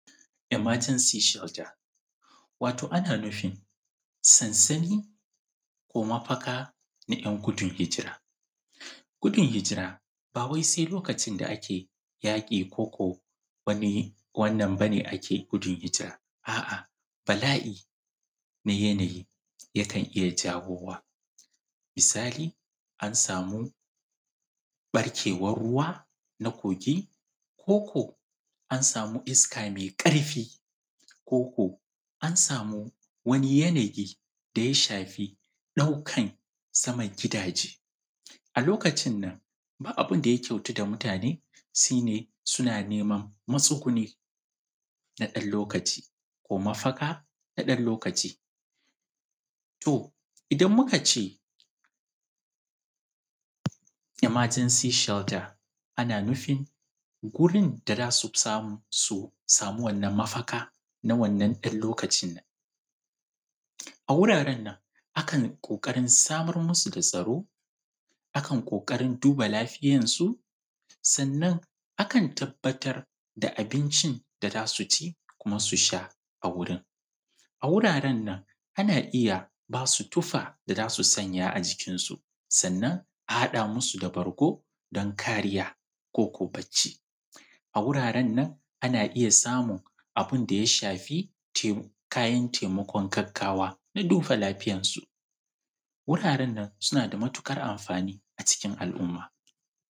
Emergency shelter. Wato ana nufin, sansani ko mafaka na `yan gudun hijira. Gudun hijira ba wai sai lokacin da ake yaƙi ko ko wani wannan ba ne ake gudun hijira, a'a, bala'i mai yanayi yakan iya jawowa. Misali, an samu ɓarkewar ruwa na kogi; ko ko an sami iska mai ƙarfi; ko ko an sami wani yanayi da ya shafi ɗaukan saman gidaje, a lokacin nan ba abun da ya kyautu da mitane shi ne, suna neman matsuguni, na ɗan lokaci, ko mafaka na ɗan lokaci. To, idan muka ce, ‘Emergency shelter’ ana nufin, wurin da za su fi samu, su samu wannan mafaka na wannan ɗan lokacin nan. A wuraren nan, akan ƙoƙarin samar musu da tsaro, akan ƙoƙarin duba lafiyarsu, sannan akan tabbatar da abincin da za su ci kuma su sha a wurin, A wuraren nan, ana iya ba su tufa da za su sanya a jikinsu, sannan a haɗa musu da bargo, don kariya, ko ko bacci. A wuraren, ana iya samun abun da ya shafi te, kayan taimakon gaggawa da duba lafiyarsu, wuraren nan, suna da matuƙar amfani a cikin al'umma.